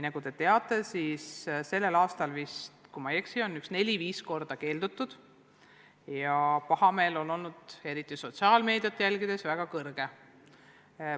Nagu te teate, sellel aastal, kui ma ei eksi, on sellest vaid neli-viis korda keeldutud ja pahameel on eriti sotsiaalmeedias olnud väga suur.